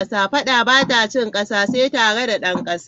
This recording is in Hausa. Fadda bata cin kassa, sai tare da dan kassa.